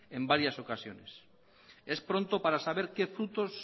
en varias ocasiones es pronto para saber qué frutos